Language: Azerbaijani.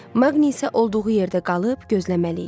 Maqni isə olduğu yerdə qalıb gözləməli idi.